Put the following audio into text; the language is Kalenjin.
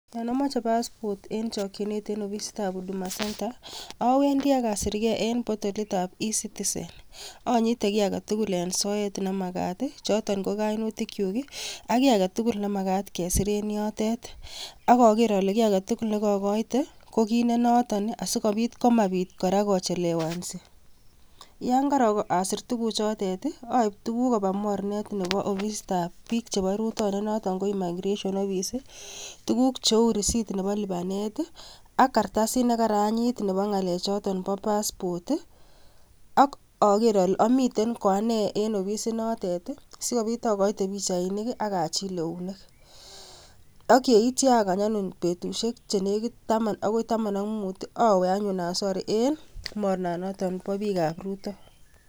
yon amoje passport en chokyinet en ofisit ab huduma centre owendi arasikyen en potolit ab e-citisen, onyite kit agetugul en soet nemagat, i,choton ko kainutikyuk ak kii agetugul nemagat kesir en yotet, agager ale gi agetugul negogoite ko kit nenotet asigobit komabit kora kochelewanzi, yon karasir tugukchotet i oib tuguk koba mornet nepo ofisitab biik chebo rutoinet nepo i migration house tuguk cheu risit nepo lipanet i,ak kartasit negayantit nepo ng'alek choton po passport ii ak oger ole omiten ko anee en ofisit notet i,sikobit ogoite pichainik ak achil eunek, ak yeitwo agany anyun betusiek chenegit taman agoi taman ak mut ii awe anyun asor en mornan noton bo bikab rutoi,